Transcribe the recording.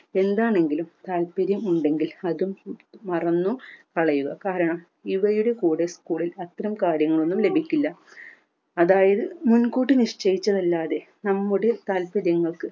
എന്താണെങ്കിലും താൽപര്യം ഉണ്ടെങ്കിൽ അത് മറന്നു കളയുക കാരണം ഇവയുടെ കൂടെ school ൽ അത്തരം കാര്യങ്ങളൊന്നും ലഭിക്കില്ല അതായത് മുൻകൂട്ടി നിശ്ചയിച്ചത് അല്ലാതെ നമ്മുടെ താൽപര്യങ്ങൾക്ക്